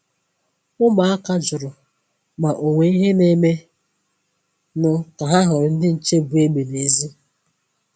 Ụmụ̀áka jụrụ ma onwe ìhè na-eme nụ ka ha hụrụ ndị nche bu egbe n’èzí.